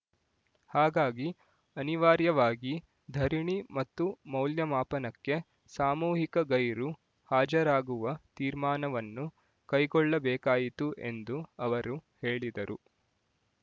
ಹಾಗಾಗಿ ಅನಿವಾರ್ಯವಾಗಿ ಧರಣಿ ಮತ್ತು ಮೌಲ್ಯಮಾಪನಕ್ಕೆ ಸಾಮೂಹಿಕ ಗೈರು ಹಾಜರಾಗುವ ತೀರ್ಮಾನವನ್ನು ಕೈಗೊಳ್ಳಬೇಕಾಯಿತು ಎಂದು ಅವರು ಹೇಳಿದರು